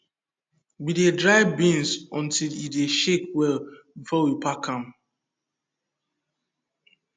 we dey dry beans until e dey shake well before we pack am